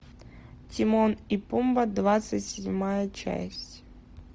тимон и пумба двадцать седьмая часть